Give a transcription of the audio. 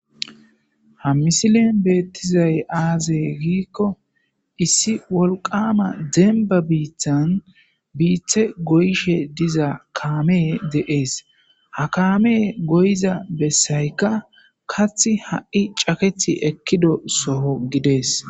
Hamisilen beettizay aazey giikko issi wolqama demba biithan biithe goyshe diza kaamee de'ees hakaame goyiza bessaykka kath ha'i cakethi ekkido soho gidees.